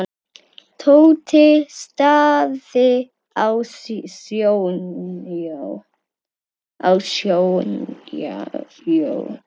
Tóti starði á Sonju.